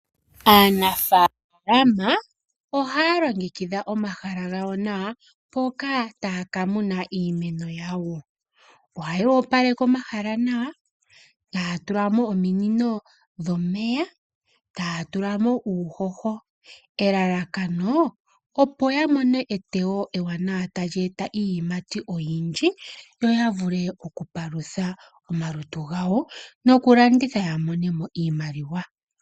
Aanafalama ohaalongekidha omahala gawo nawa mpoka taakamuna iimeno yawo. Ohayoopaleke omahala nawa, taatulamo ominino dhomeya, taatulamo uuhoho. Elalakano, opo yamone eteyo ewanawa talyeeta iiyimati oyindji, yoyavule okupalutha omalutu gawo, nokulanditha yamonemo iimaliwa.